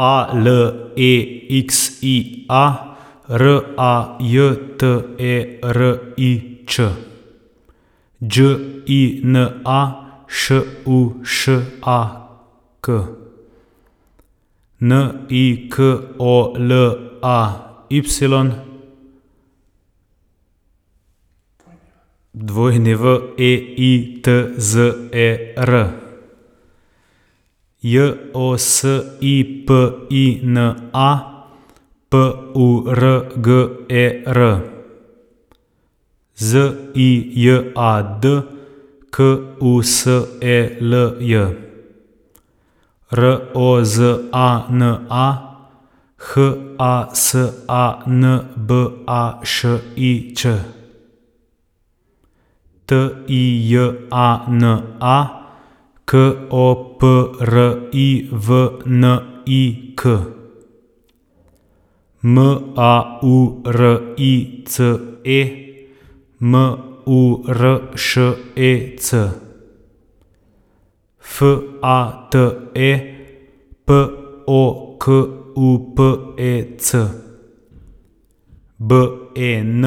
A L E X I A, R A J T E R I Č; Đ I N A, Š U Š A K; N I K O L A Y, W E I T Z E R; J O S I P I N A, P U R G E R; Z I J A D, K U S E L J; R O Z A N A, H A S A N B A Š I Ć; T I J A N A, K O P R I V N I K; M A U R I C E, M U R Š E C; F A T E, P O K U P E C; B E N,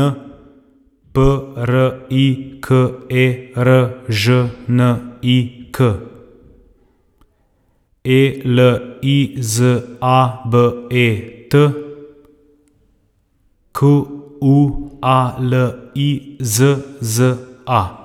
P R I K E R Ž N I K; E L I Z A B E T, Q U A L I Z Z A.